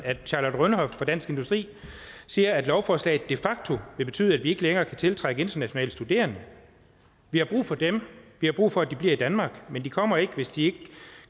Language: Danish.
at charlotte rønhof fra dansk industri siger at lovforslaget de facto vil betyde at vi ikke længere kan tiltrække internationale studerende vi har brug for dem vi har brug for at de bliver i danmark men de kommer ikke hvis de ikke